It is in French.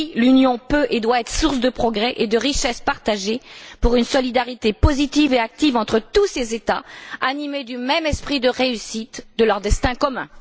Oui, l'Union peut et doit être source de progrès et de richesse partagée, pour une solidarité positive et active entre tous ses États, animés du même esprit de réussite de leur destin commun.